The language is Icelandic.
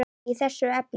í þessu efni.